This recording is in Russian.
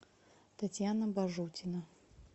татьяна бажутина